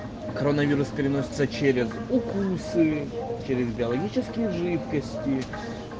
коронавирус переносится через укусы через биологические жидкости